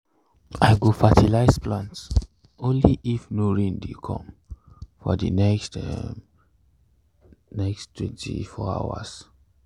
i go fertilize plants only if no rain dey come for the um next twenty-four hours.